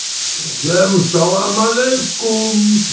всем салам алейкум